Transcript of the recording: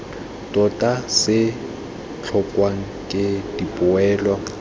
tota se tlhokwang ke dipoelo